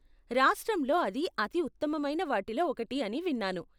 రాష్ట్రంలో అది అతి ఉత్తమమైన వాటిలో ఒకటి అని విన్నాను?